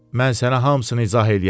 Mən sənə hamısını izah eləyərəm.